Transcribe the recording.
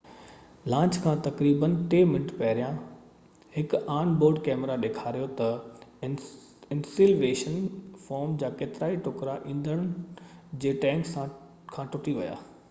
launch کان تقريبن 3 منٽ پهريان هڪ آن بورڊ ڪئميرا ڏيکاريو ته انسيوليشن فوم جا ڪيترائي ٽڪرا ايندڻ جي ٽينڪ کان ٽٽي ويا